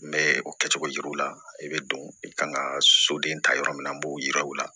N bɛ o kɛcogo jira u la i bɛ don i kan ka soden ta yɔrɔ min na n b'o yira u la